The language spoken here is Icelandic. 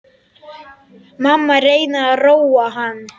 Mamma reynir að róa hann.